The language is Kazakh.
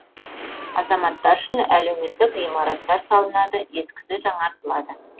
азаматтар үшін әлеуметтік ғимараттар салынады ескісі жаңаратылады